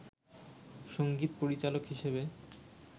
সংগীত পরিচালক হিসেবে